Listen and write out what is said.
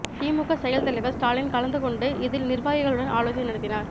திமுக செயல் தலைவர் ஸ்டாலின் கலந்துகொண்டு இதில் நிர்வாகிகளுடன் ஆலோசனை நடத்தினார்